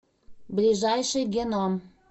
ближайший геном